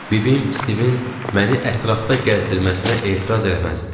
Bibim Stivin məni ətrafda gəzdirməsinə etiraz eləməzdi.